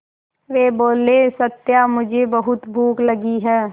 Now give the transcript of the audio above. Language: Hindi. वे बोले सत्या मुझे बहुत भूख लगी है